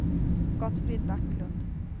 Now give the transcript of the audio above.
Gottfrid Backlund